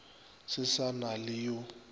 se sa na le yo